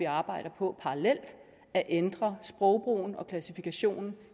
arbejder på parallelt at ændre sprogbrugen og klassifikationen